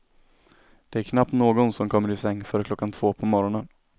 Det är knappast någon som kommer i säng före klockan två på morgonen.